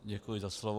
Děkuji za slovo.